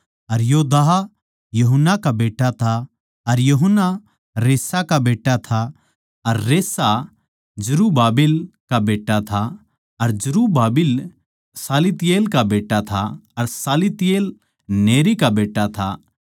अर योदाह यूहन्ना का बेट्टा था अर यूहन्ना रेसा का बेट्टा था अर रेसा जरुब्बाबिल का बेट्टा था अर जरुब्बाबिल शालतियेल का बेट्टा था अर शालतियेल नेरी का बेट्टा था